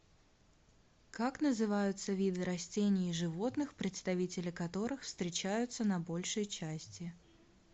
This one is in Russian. как называются виды растений и животных представители которых встречаются на большей части